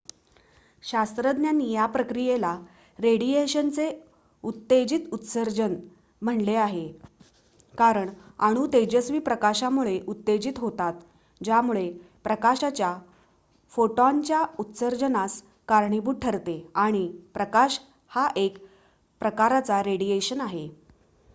"शास्त्रज्ञांनी या प्रक्रियेला "रेडिएशनचे उत्तेजित उत्सर्जन" म्हटले आहे कारण अणू तेजस्वी प्रकाशामुळे उत्तेजित होतात ज्यामुळे प्रकाशाच्या फोटॉनच्या उत्सर्जनास कारणीभूत ठरते आणि प्रकाश हा एक प्रकारचा रेडिएशन आहे.